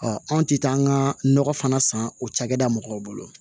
anw tɛ taa an ka nɔgɔ fana san o cakɛda mɔgɔw bolo